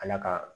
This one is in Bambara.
Ala ka